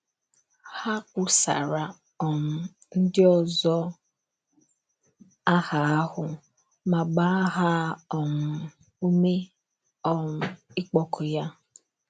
Ha kwusaara um ndị ọzọ aha ahụ ma gbaa ha um ume um ịkpọku ya.